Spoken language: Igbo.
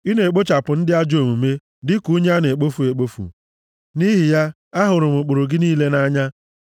Ị na-ekpochapụ ndị ajọ omume dịka unyi a na-ekpofu ekpofu; nʼihi ya, ahụrụ m ụkpụrụ gị niile nʼanya.